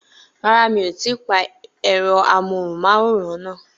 Rárá, mi ò tí ì pa ẹ̀rọ amóhùnmáwòrán náà.